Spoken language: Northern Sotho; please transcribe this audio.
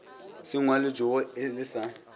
se ngwalwetšwego e le sa